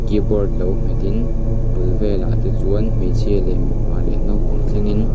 kibawrt lo hmetin a bul vêlah te chuan hmeichhia leh mipa leh naupang thlengin--